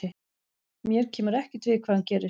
Mér kemur ekkert við hvað hann gerir.